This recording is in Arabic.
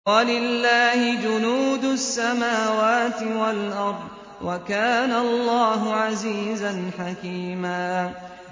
وَلِلَّهِ جُنُودُ السَّمَاوَاتِ وَالْأَرْضِ ۚ وَكَانَ اللَّهُ عَزِيزًا حَكِيمًا